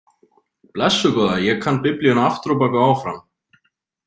Blessuð góða, ég kann Biblíuna aftur á bak og áfram